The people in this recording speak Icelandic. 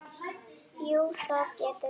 Jú, það getur verið.